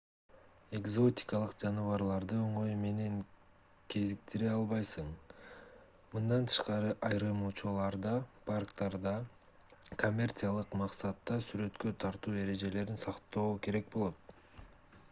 экзотикалык жаныбарларды оңой менен кезиктире албайсың мындан тышкары айрым учурларда парктарда коммерциялык максатта сүрөткө тартуу эрежелерин сактоо керек болот